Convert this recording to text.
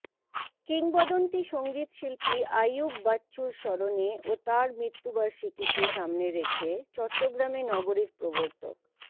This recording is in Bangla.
কিংবদন্তী সঙ্গীতশিল্পী আইয়ুব বাচ্চুর স্মরণে ও তার মৃত্যুবার্ষিকীকে সামনে রেখে চট্টগ্রামে নগরীর প্রবর্তক